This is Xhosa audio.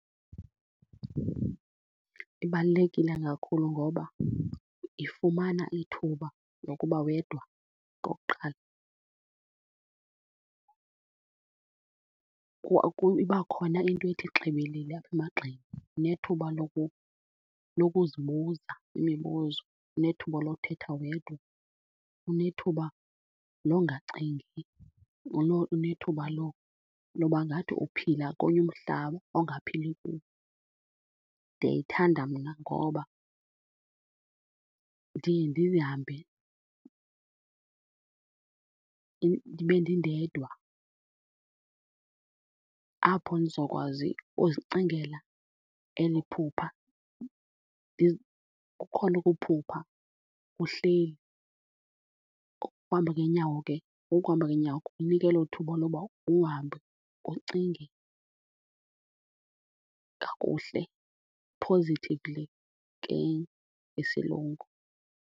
Ibalulekile kakhulu ngoba ifumana ithuba lokuba wedwa okokuqala. Iba khona into ethi xibilili apha emagxeni, unethuba lokuzibuza imibuzo, unethuba lokuthetha wedwa, unethuba longacingi, unethuba loba ngathi uphila komnye umhlaba ongaphili kuwo. Ndiyayithanda mna ngoba ndiye ndihambe ndibe ndindedwa apho ndizokwazi ukuzicingela eli phupha. Kukhona ukuphupha uhleli, ukuhamba ngeenyawo ke ukuhamba ngeenyawo kukunika elo thuba loba uhambe ucinge kakuhle, positively ke ngesilungu.